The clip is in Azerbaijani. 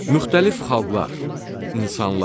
Müxtəlif xalqlar, insanlar.